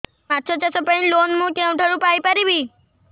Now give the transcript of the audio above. ମାଛ ଚାଷ ପାଇଁ ଲୋନ୍ ମୁଁ କେଉଁଠାରୁ ପାଇପାରିବି